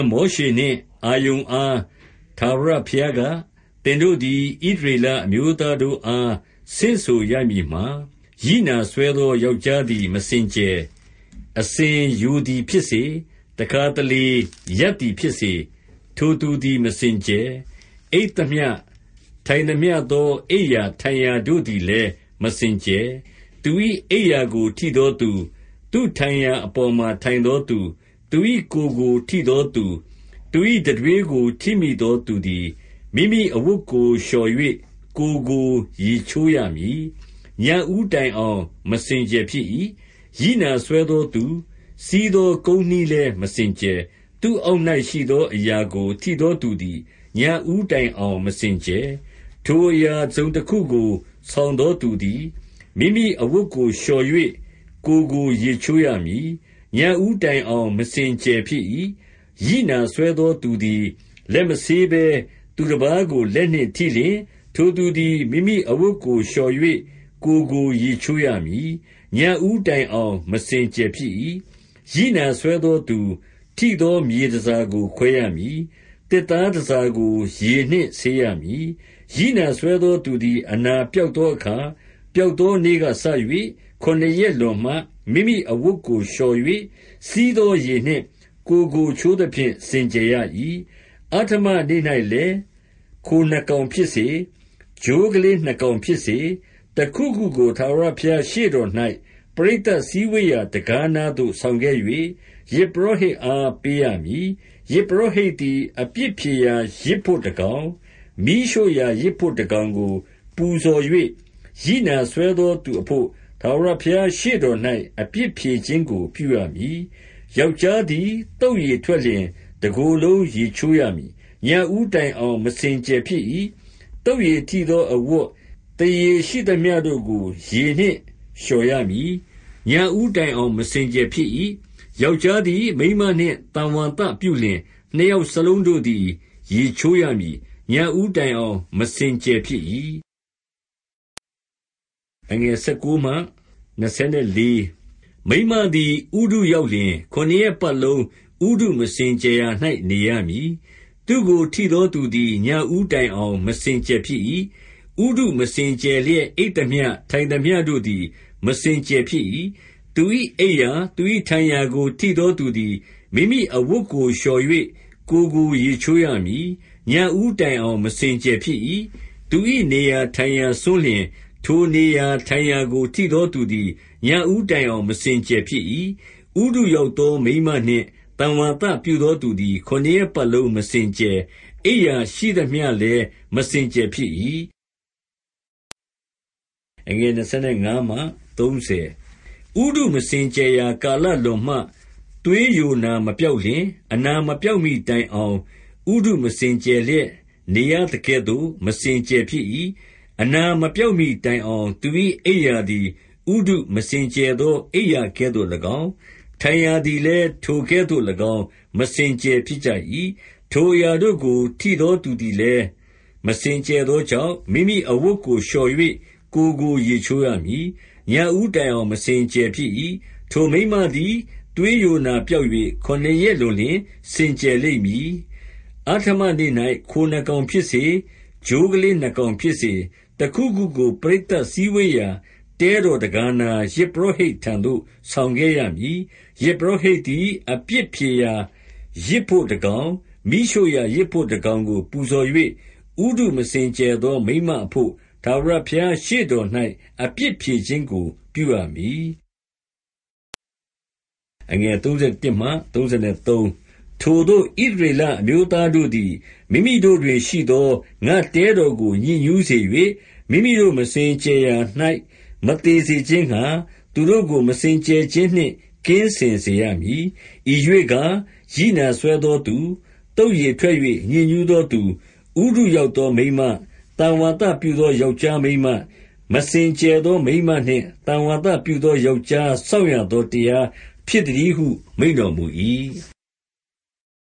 မောရှေနှင့်အာရုန်အား ထာဝရဘုရားက၊ သင်တို့သည် ဣသရေလအမျိုးသားတို့အား ဆင့်ဆိုရမည်မှာ၊ ရိနာစွဲသောယောက်ျားသည် မစင်ကြယ်။ အစဉ်ယိုသည်ဖြစ်စေ၊ တစ်ခါတလေရပ်သည်ဖြစ်စေ၊ ထိုသူသည် မစင်ကြယ်။ အိပ်သမျှ ထိုင်သမျှသော အိပ်ရာထိုင်ရာတို့သည်လည်း မစင်ကြယ်။ သူ၏အိပ်ရာကိုထိသောသူ၊ သူ့ထိုင်ရာအပေါ်မှာထိုင်သောသူ၊ သူ၏ကိုယ်ကိုထိသောသူ၊ သူ၏တံတွေးထိမိသောသူသည်၊ မိမိအဝတ်ကိုလျှော်၍ ကိုယ်ကိုရေးချိုးရမည်။ ညဉ့်ဦးတိုင်အောင် မစင်ကြယ်ဖြစ်၏။ ရိနာစွဲသောသူစီးသော ကုန်းနှီးလည်းမစင်ကြယ်။ သူ့အောက်၌ရှိသောအရာကို ထိသောသူသည် ညဉ့်ဦးတိုင်အောင်မစင်ကြယ်။ ထိုအရာတစ်စုံတစ်ခုကို ဆောင်သောသူသည်၊ မိမိအဝတ်ကိုလျှော်၍ ကိုယ်ကိုရေချိုးရမည်။ ညဉ့်ဦးတိုင်အောင် မစင်ကြယ်ဖြစ်၏။ ရိနာစွဲသောသူသည်၊ လက်မဆေးဘဲ သူတစ်ပါးကိုလက်နှင့်ထိလျှင်၊ ထိုသူသည် မိမိအဝတ်ကိုလျှော်၍ ကိုယ်ကိုရေချိုးရမည်။ ညဉ့်ဦးတိုင်အောင် မစင်ကြယ်ဖြစ်၏။ ရိနာစွဲသောသူထိသော မြေတန်ဆာကို ခွဲရမည်။ သစ်သားတန်ဆာကို ရေနှင့်ဆေးရမည်။ ရိနာစွဲသောသူသည် အနာပျောက်သောအခါ၊ ပျောက်သောနေ့ကစ၍၊ ခုနစ်ရက်လွန်မှ မိမိအဝတ်ကိုလျှော်၍၊ စီးသောရေနှင့် ကိုယ်ကိုချိုးသဖြင့် စင်ကြယ်ရ၏။ အဋ္ဌမနေ့၌လည်း၊ ခိုနှစ်ကောင်ဖြစ်စေ၊ ချိုးကလေးနှစ်ကောင်ဖြစ်စေ၊ တစ်ခုခုကို ထာဝရဘုရားရှေ့တော်၌ ပရိသတ်စည်းဝေးရာတံခါးနားသို့ဆောင်ခဲ့၍၊ ယဇ်ပုရောဟိတ်အားပေးရမည်။ ယဇ်ပုရောဟိတ်သည် အပြစ်ဖြေရာယဇ်ဖို့တစ်ကောင်၊ မီးရှို့ရာယဇ်ဖို့တစ်ကောင်ကို ပူဇော်၍၊ ရိနာစွဲသောသူအဖို့ ထာဝရဘုရားရှေ့တော်၌ အပြစ်ဖြေခြင်းကိုပြုရမည်။ ယောက်ျားသည် သုက်ရည်ထွက်လျှင် တစ်ကိုယ်လုံးရေချိုးရမည်။ ညဉ့်ဦးတိုင်အောင် မစင်ကြယ်ဖြစ်၏။ သုက်ရည်ထိသောအဝတ်၊ သားရေရှိသမျှတို့ကို ရေနှင့်လျှော်ရမည်။ ညဉ့်ဦးတိုင်အောင် မစင်ကြယ်ဖြစ်၏။ ယောက်ျားသည် မိန်းမနှင့်သံဝါသပြုလျှင်၊ နှစ်ယောက်စလုံး ရေချိုးရမည်။ ညဉ့်ဦးတိုင်အောင် မစင်ကြယ်ဖြစ်၏။ မိန်းမသည်ဥတုရောက်လျှင်၊ ခုနစ်ရက်ပတ်လုံး ဥတုမစင်ကြယ်ရာ၌ နေရမည်။ သူ့ကိုထိသောသူသည် ညဉ့်ဦးတိုင်အောင် မစင်ကြယ်ဖြစ်၏။ ဥတုမစင်ကြယ်လျက်အိပ်သမျှ၊ ထိုင်သမျှတို့သည် မစင်ကြယ်ဖြစ်၏။ သူ၏အိပ်ရာ၊ သူ၏ထိုင်ရာကိုထိသောသူသည် မိမိအဝတ်ကိုလျှော်၍ ကိုယ်ကိုရေချိုးရမည်။ ညဉ့်ဦးတိုင်အောင် မစင်ကြယ်ဖြစ်၏။ သူ၏နေရာထိုင်ရာစွန်းလျှင်၊ ထိုနေရာထိုင်ရာကို ထိသောသူသည် ညဉ့်ဦးတိုင်အောင် မစင်ကြယ်ဖြစ်၏။ ဥတုရောက်သောမိန်းမနှင့် သံဝါသပြုသောသူသည် ခုနစ်ရက်ပတ်လုံး မစင်ကြယ်၊ အိပ်ရာရှိသမျှလည်း မစင်ကြယ်ဖြစ်၏။ ဥတုမစင်ကြယ်ရာကာလလွန်မှ၊ သွေးယိုနာမပျောက်လျှင်၊ အနာမပျောက်မီတိုင်အောင် ဥတုမစင်ကြယ်လျက် နေရသကဲ့သို့ မစင်ကြယ်ဖြစ်၏။ အနာမပျောက်မီတိုင်အောင် သူ၏အိပ်ရာသည် ဥတုမစင်ကြယ်ရာ အိပ်ရာကဲ့သို့လည်းကောင်း၊ ထိုင်ရာသည်လည်းကောင်း မစင်ကြယ်ဖြစ်၏။ ထိုအရာတို့ကို ထိသောသူသည်လည်း မစင်ကြယ်သောကြောင့်၊ မိမိအဝတ်ကိုလျှော်၍ ကိုယ်ကိုရေချိုးရမည်။ ညဉ့်ဦးတိုင်အောင် မစင်ကြယ်ဖြစ်၏။ ထိုမိန်းမသည် သွေးယိုနာပျောက်၍ ခုနစ်ရက်လွန်လျှင် စင်ကြယ်လိမ့်မည်။ အဋ္ဌမနေ့၌ ခိုနှစ်ကောင်ဖြစ်စေ၊ ချိုးကလေးနှစ်ကောင်ဖြစ်စေ၊ တစ်ခုခုကို ပရိသတ်စည်းဝေးရာတဲတော်တံခါးနား၊ ယဇ်ပုရောဟိတ်ထံသို့ ဆောင်ခဲ့ရမည်။ ယဇ်ပုရောဟိတ်သည် အပြစ်ဖြေရာယဇ်ဖို့တစ်ကောင်၊ မီးရှို့ရာယဇ်ဖို့တစ်ကောင်ကို ပူဇော်၍၊ ဥတုမစင်ကြယ်သောမိန်းမအဖို့ ထာဝရဘုရားရှေ့တော်၌ အပြစ်ဖြေခြင်းကိုပြုရမည်။ ထိုသို့ ဣသရေလအမျိုးသားတို့သည် မိမိတို့တွင်ရှိသော ငါ့တဲတော်ကို ညစ်ညူးစေ၍၊ မိမိတို့မစင်ကြယ်ရာ၌ မသေစေခြင်းငှာ၊ သူတို့ကို မစင်ကြယ်ခြင်းနှင့် ကင်းစင်စေရမည်။ ဤရွေ့ကား၊ ရိနာစွဲသောသူ၊ သုက်ရည်ထွက်၍ညစ်ညူးသောသူ၊ ဥတုရောက်သောမိန်းမ၊ သံဝါသပြုသော ယောက်ျားမိန်းမ၊ မစင်ကြယ်သောမိန်းမနှင့် သံဝါသပြုသောယောက်ျား စောင့်ရသောတရားဖြစ်သတည်းဟု မိန့်တော်မူ၏။